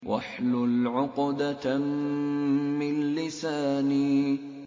وَاحْلُلْ عُقْدَةً مِّن لِّسَانِي